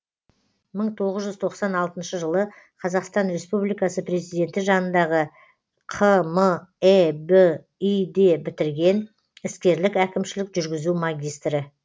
мың тоғыз жүз тоқсан алтыншы жылы қазақстан республикасы президенті жанындағы қмэби ді бітірген іскерлік әкімшілік жүргізу магистрі